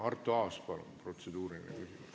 Arto Aas, palun protseduuriline küsimus!